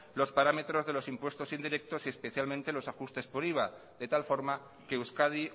los parámetros de los impuestos indirectos y especialmente los ajustes por iva de tal forma que euskadi